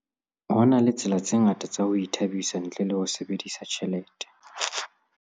Ho na le tsela tse ngata tsa ho ithabisa ntle le ho sebedisa tjhelete.